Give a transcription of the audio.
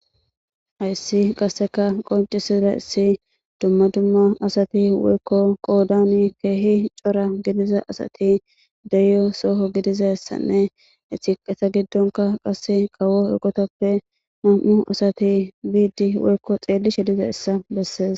Hayssi qasseka qoncisida issi dumma dumma asati woykko qoodani keehi cora gidiza asati deyyo sooho gidiza ssanne etiqesa giddonka qasse qawo eggotappe nam'u asati biidi woykko xeelli shediza issa bessees.